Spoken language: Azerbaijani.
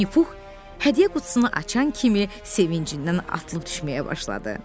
Vinni Pux hədiyyə qutusunu açan kimi sevincindən atılıb düşməyə başladı.